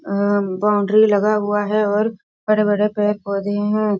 अं boundary लगा हुआ है और बड़े-बड़े पेड़-पौधे हैं।